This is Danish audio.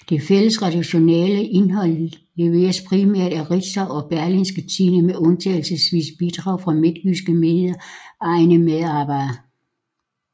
Det fælles redaktionelle indhold leveres primært af Ritzau og Berlingske Tidende med undtagelsesvise bidrag fra Midtjyske Mediers egne medarbejdere